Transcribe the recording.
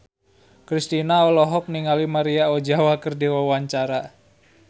Kristina olohok ningali Maria Ozawa keur diwawancara